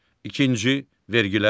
İkinci vergilər.